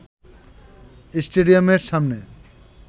স্টেডিয়ামের সামনে